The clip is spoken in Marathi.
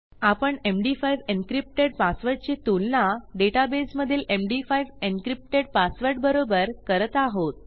आपण एमडी5 एन्क्रिप्टेड पासवर्डची तुलना डेटाबेसमधील एमडी5 एन्क्रिप्टेड पासवर्ड बरोबर करत आहोत